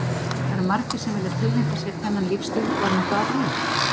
Það eru margir sem vilja tileinka sér þennan lífstíl og er nokkuð að því?